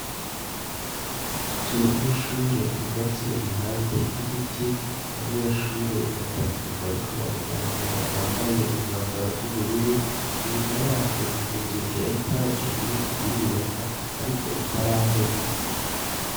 Inzu y'ishure yubatse impande y'ibiti abanyeshure batatu bariko baraganira bambaye umwambaro w'ubururu inyuma yaryo hari inzu ya etage iriko irubakwa ariko itarahera.